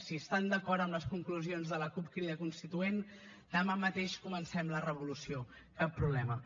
si estan d’acord amb les conclusions de la cup crida constituent demà mateix comencem la revolució cap problema